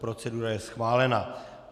Procedura je schválená.